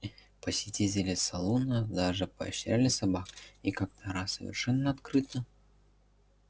посетители салуна даже поощряли собак и как то раз совершенно открыто